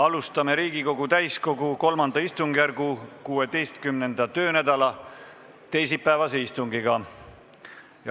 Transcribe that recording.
Alustame Riigikogu täiskogu III istungjärgu 16. töönädala teisipäevast istungit.